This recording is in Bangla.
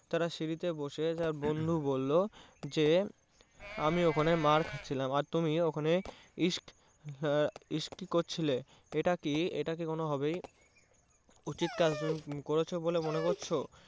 তারা সিঁড়িতে বসে তার এক বন্ধু বললো যে আমি ওখানে মার খাচ্ছিলাম আর তুমি ওখানে ইস্ক হম ইস্কি করছিলে এটা কি এটা কোনোভাবে উচিত কার্য করেছো বলে মনে করছো।